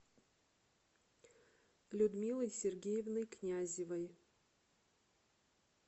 людмилой сергеевной князевой